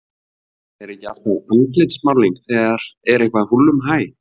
Er ekki alltaf andlitsmálning þegar er eitthvað húllumhæ?